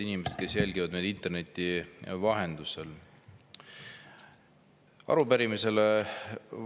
Head inimesed, kes jälgivad meid interneti vahendusel!